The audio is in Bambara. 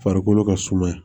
Farikolo ka suma